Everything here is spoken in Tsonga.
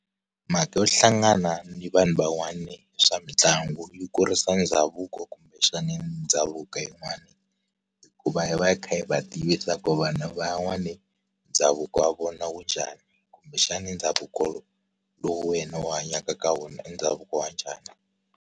Mhaka yo hlangana ni vanhu van'wani swa mitlangu yi kurisa ndhavuko kumbexana ndhavuko yin'wani. Hikuva yi va yi kha yi va tivisa ku vanhu van'wani, ndhavuko wa vona wu njhani. Kumbexana ndhavuko lowu, wena u hanyaka ka wona i ndhavuko wa njhani?